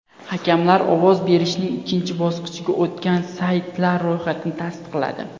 Hakamlar ovoz berishning ikkinchi bosqichiga o‘tgan saytlar ro‘yxatini tasdiqladi.